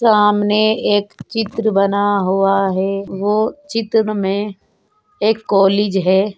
सामने एक चित्र बना हुआ है वो चित्र में एक कोलीज है।